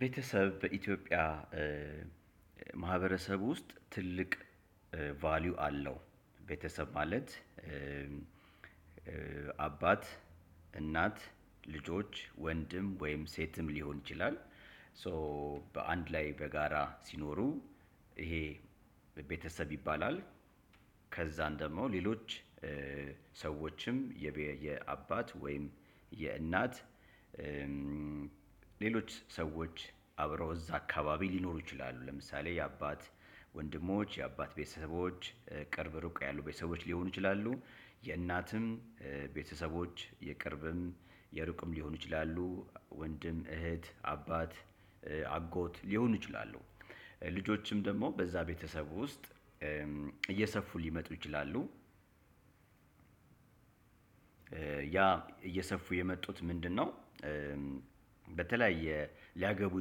ቤተሰብ በኢትዮጵያ ማህበረሰብ ውስጥ ትልቅ ቫልዩ አለው። ቤተሰብ ማለት። አባት እናት ልጆች ወንድም ወይም ሴትም ሊሆን ይችላል። ሶ በአንድ ላይ በጋራ ሲኖሩ ይሄ በቤተሰብ ይባላል። ከዛም ደግሞ ሌሎች ሰዎችም የብየየ አባት ወይም የእናት ሌሎች ሰዎች አብረው እዛ አካባቢ ሊኖሩ ይችላሉ። ለምሳሌ የአባት ወንድሞች የአባት ቤተሰቦች ቅርብ ሩቅ ያሉ ቤተሰቦች ሊሆኑ ይችላሉ። የእናትም በተሰቦች የቅርብም የሩቅም ልሆን ይችላል። ወንድም፣ እህት፣ አባት አጎት ልሆኑ ይችላሉ። ልጆችም ደግሞ በዛ ቤተሰብ ውስጥ እየሰፉ ሊመጡ ይችላሉ። ያ እየሰፉ የመጡት ምንድነው? በተለያየ ሊያገቡ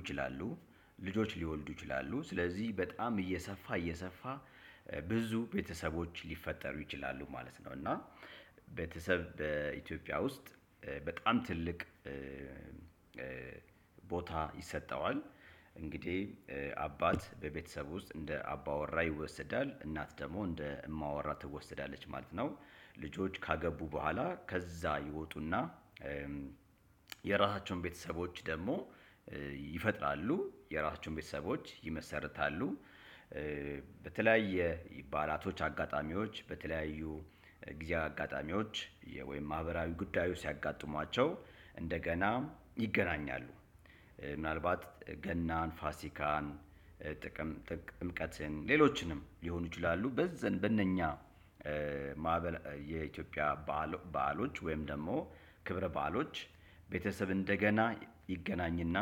ይችላሉ ልጆች ሊወልዱ ይችላሉ ስለዚህ በጣም እየሰፋ እየሰፋ ብዙ ቤተሰቦች ሊፈጠሩ ይችላሉ ማለት ነው። እና ቤተሰብ በኢትዮጵያ ውስጥ በጣም ትልቅ ቦታ ይሰጠዋል። እንግዲህ አባት በቤተሰብ ውስጥ እንደ አባወራ ይወስዳል እናት ደግሞ እንደ እማወራ ትወስዳለች ማለት ነው። ልጆች ካገቡ በኋላ ከዚያ ይወጡና። የራሳቸውን በተሰቦች ደግሞ ይፈጥራሉ የራሳቸውን በተሰቦች ይመሰርታሉ። በተለያየ በዓላቶች አጋጣሚዎች በተለያዩ ጊዜ አጋጣሚዎች ወይም ማህበራዊ ጉዳዮች ስያጋጥማቸው እንደገና ይገናኛሉ። ምናልባት ገናን ፋሲካን ጥምቀትን ሌሎችንም ሊሆኑ ይችላሉ በዛን በእነኛ ማዕበል የኢትዮጵያ በዓሎች ወይም ደግሞ ክብረ በዓሎች። ቤተሰብ እንደገና ይገናኝና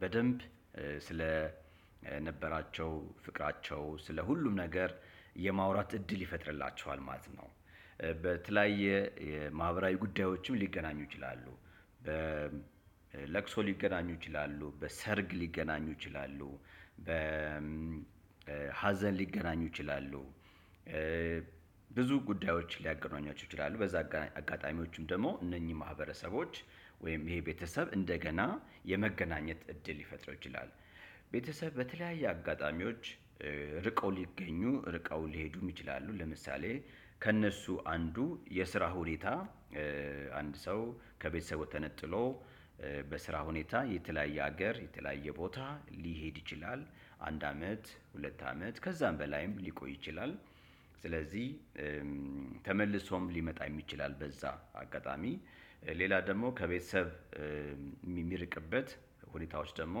በደንብ ስለ ነበራቸው ፍቅራቸው ስለሁሉም ነገር የማውራት እድል ይፈጥርላቸዋል ማለት ነው። በተለይ የማህበራዊ ጉዳዮችም ሊገናኙ ይችላሉ። በለቅሶ ሊገናኙ ይችላሉ በሰርግ ሊገናኙ ይችላሉ በሀዘን ሊገናኙ ይችላሉ። ብዙ ጉዳዮች ሊያገናኙዋችው ይችላሉ በዛ አጋጣሚዎችም ደግሞ እነኚህ ማህበረሰቦች ወይም ይሄ ቤተሰብ እንደገና የመገናኘት እድል ልፈጥር ይችላል። ቤተሰብ በተለያየ አጋጣሚዎች ርቀው ሊገኙ ርቀው ሊሄዱ ይችላሉ። ለምሳሌ ከእነሱ አንዱ የስራ ሁኔታ አንድ ሰው ከቤተሰቡ ተነጥሎ በስራ ሁኔታ የተለያየ ሀገር የተለያየ ቦታ ሊሄድ ይችላል። አንድ አመት ሁለት አመት ከዛም በላይም ሊቆይ ይችላል። ስለዚህ ተመልሶም ሊመጣ የሚችል አለ። በዛ አጋጣሚ ሌላ ደግሞ ከቤተሰብ የሚርቅበት ሁኔታዎች ደግሞ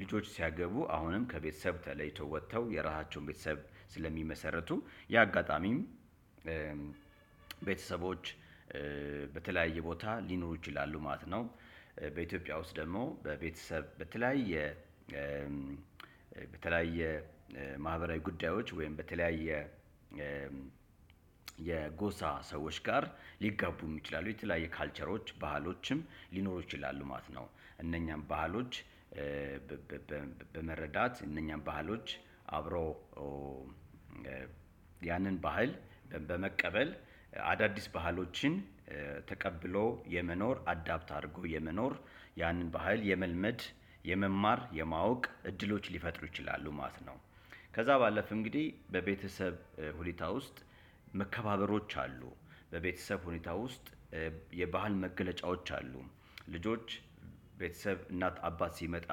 ልጆች ሲያገቡ አሁንም ከቤተሰብ ተለይተው ወጥተው የራሳቸውን ቤተሰብ ስለሚመሰርቱ ይህ አጋጣሚ። ቤተሰቦች በተለያየ ቦታ ሊኖሩ ይችላሉ ማለት ነው። በኢትዮጵያ ውስጥ ደግሞ በቤተሰብ በተለያየ በተለያየ ማህበራዊ ጉዳዮች ወይም በተለያየ የጎሳ ሰዎች ጋር ሊጋቡም ይችላሉ የተለያዬ ካልቸሮች ባህሎችም ሊኖሩ ይችላሉ ማለት ነው። እነኛም ባህሎች በመረዳት እነኛን ባህሎች አብሮ ያንን ባህል በመቀበል አዳዲስ ባህሎችን ተቀብሎ የመኖር አዳፕት አድርጎ የመኖር ያንን ባህል የመልመድ የመማር የማወቅ እድሎች ሊፈጥሩ ይችላሉ ማለት ነው። ከዛ ባለፍ እንግዲህ በቤተሰብ ሁኔታ ውስጥ መከባበሮች አሉ። በቤተሰብ ሁኔታ ውስጥ የባህል መገለጫዎች አሉ። ልጆች ቤተሰብ እናት አባት ሲመጣ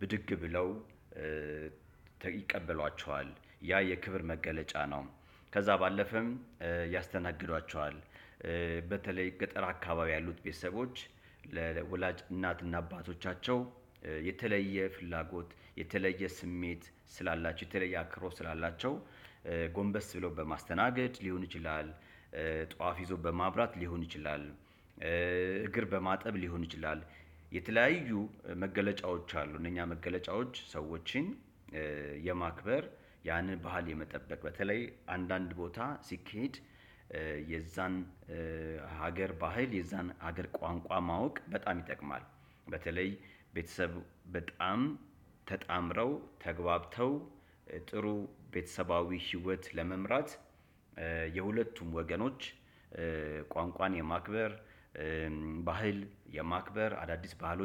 ብድግ ብለው ይቀበሏቸዋል ያ የክብር መገለጫ ነው። ከዛ ባለፈም ያስተናግዷቸዋል። በተለይ ገጠር አካባቢ ያሉት ቤተሰቦች ለወላጅ እናትና አባቶቻቸው የተለየ ፍላጎት የተለየ ስሜት ስላላቸው የተለየ አክሮት ስላላቸው ጎንበስ ብሎ በማስተናገድ ሊሆን ይችላል። ጧፍ ይዞ በማብራት ሊሆን ይችላል። እግር በማጠብ ሊሆን ይችላል። የተለያዩ መገለጫዎች አሉ። እነኛ መገለጫዎች ሰዎችን የማክበር ያንን ባህል የመጠበቅ በተለይ አንዳንድ ቦታ ሲኬድ የዛን ሀገር ባህል የዛን ሀገር ቋንቋ ማወቅ በጣም ይጠቅማል። በተለይ ቤተሰብ በጣም ተጣምረው ተግባብተው ጥሩ ቤተሰባዊ ህይወት ለመምራት የሁለቱም ወገኖች ቋንቋን የማክበር ባህል የማክበር አዳዲስ ባህሎች